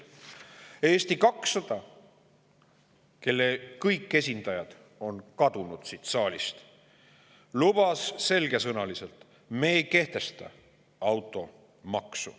Eesti 200, kelle kõik esindajad on siit saalist kadunud, lubas selgesõnaliselt: me ei kehtesta automaksu.